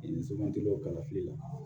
I so man di o kalafili la